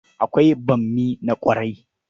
Akwai bammi na ƙwara.